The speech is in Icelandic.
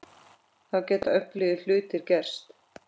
Þá geta öflugir hlutir gerst.